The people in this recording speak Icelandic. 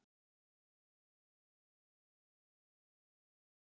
Við þekkjum hana ekki fyrir sömu manneskju.